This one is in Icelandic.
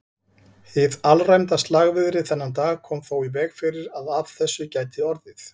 Hið alræmda slagviðri þennan dag kom þó í veg fyrir að af þessu gæti orðið.